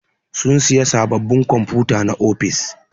Sun siƴa saɓɓaɓin kwamfuta na ofis.